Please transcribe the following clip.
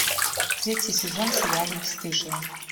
третий сезон сериала бесстыжие